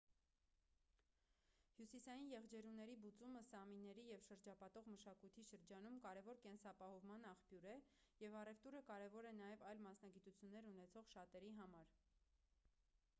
հյուսիսային եղջերուների բուծումը սամիների և շրջապատող մշակույթի շրջանում կարևոր կենսապահովման աղբյուր է և առևտուրը կարևոր է նաև այլ մասնագիտություններ ունեցող շատերի համար